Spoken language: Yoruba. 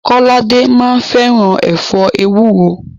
Kọ́ládé máa ń fẹ́ràn ẹ̀fọ́ ewúro.